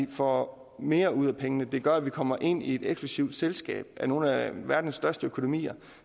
vi får mere ud af pengene og det gør at vi kommer ind i et eksklusivt selskab af nogle af verdens største økonomier